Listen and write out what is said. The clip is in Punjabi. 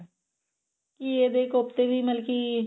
ਘੀਏ ਦੇ ਕੋਫਤੇ ਵੀ ਮਤਲਬ ਕੀ